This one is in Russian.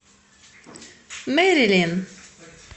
мэрилин